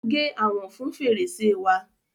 Ó gé àwòn fun fèrèsè wa.